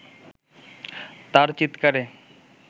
তার চিৎকারে